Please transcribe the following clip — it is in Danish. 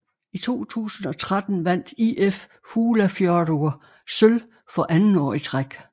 I 2013 vandt ÍF Fuglafjørður sølv for anden år i træk